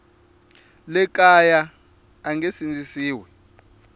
le kaya a nge sindzisiwi